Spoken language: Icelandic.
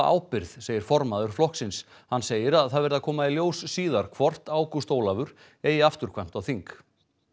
ábyrgð segir formaður flokksins hann segir að það verði að koma í ljós síðar hvort Ágúst Ólafur eigi afturkvæmt á þing